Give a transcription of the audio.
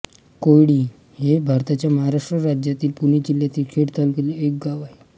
कोयळी हे भारताच्या महाराष्ट्र राज्यातील पुणे जिल्ह्यातील खेड तालुक्यातील एक गाव आहे